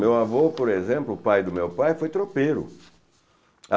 Meu avô, por exemplo, o pai do meu pai foi tropeiro.